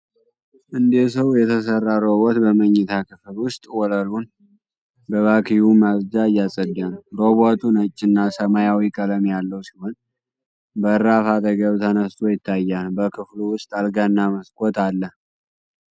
እንደ ሰው የተሠራ ሮቦት በመኝታ ክፍል ውስጥ ወለሉን በቫክዩም ማጽጃ እያጸዳ ነው። ሮቦቱ ነጭ እና ሰማያዊ ቀለም ያለው ሲሆን በራፍ አጠገብ ተነስቶ ይታያል። በክፍሉ ውስጥ አልጋና መስኮት አለ።